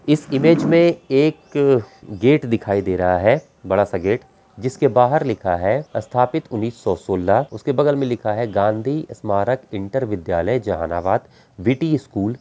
इस इमेज में एक गेट दिखाई दे रहा है बड़ा-सा गेट जिसके बाहर लिखा है स्थापित उन्नीस सौ सोलह। उसके बगल में लिखा है गांधी स्मारक इंटर विद्यालय जहानाबाद वी.टी. स्कूल ।